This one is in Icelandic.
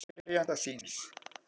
Krefst skipunar verjanda síns